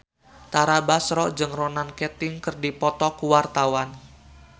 Tara Basro jeung Ronan Keating keur dipoto ku wartawan